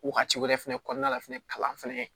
Wagati wɛrɛ fɛnɛ kɔnɔna la fɛnɛ kalan fɛnɛ